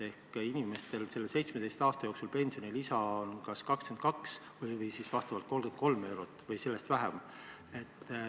Seega on inimestel 17 aasta jooksul kogunenud pensionilisa kas 22 või 33 eurot või sellest vähem.